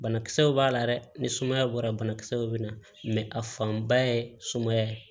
Banakisɛw b'a la dɛ ni sumaya bɔra banakisɛw bɛna a fanba ye sumaya ye